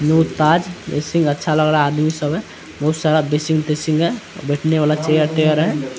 New Taj ये scene अच्छा लग रहा है आदमी सब है बहुत सारा ड्रेसिंग ट्रेसिंग है बैठने वाला चेयर तेयर है।